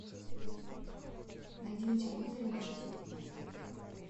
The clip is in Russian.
найди на телевизоре наше тиви